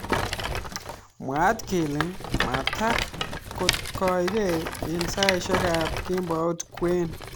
Mwaat kele maatak kokitoi eng saishek ab kembout kwen.